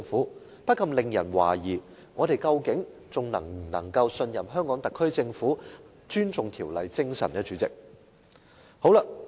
主席，這不禁令人懷疑，究竟我們能否仍信任香港特區政府尊重《條例》精神。